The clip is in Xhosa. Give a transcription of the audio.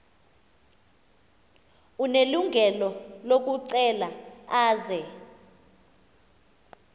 unelungelo lokucela aze